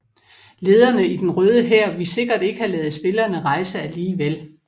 Lederne i Den Røde Hær ville sikkert ikke have ladet spillerne rejse alligevel